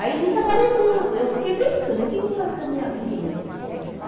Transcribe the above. Aí nisso apareceu, eu fiquei pensando, o que eu vou fazer da minha vida, meu Deus?